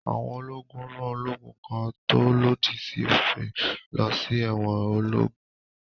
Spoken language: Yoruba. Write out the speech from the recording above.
Àwọn ológun rán ológun kan tó lòdì sí òfin lọ sí ẹ̀wọn ológún.